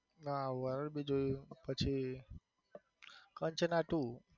હા horror બી જોયું પછી કંચના two